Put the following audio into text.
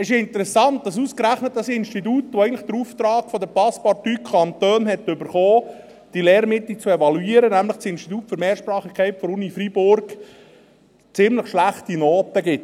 Es ist interessant, dass ausgerechnet das Institut, das eigentlich den Auftrag der Passepartout-Kantone erhielt, diese Lehrmittel zu evaluieren, nämlich das Institut für Mehrsprachigkeit der Uni Freiburg, diesen Lehrmitteln ziemlich schlechte Noten gibt.